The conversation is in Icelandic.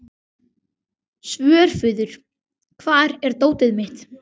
Svörfuður, hvar er dótið mitt?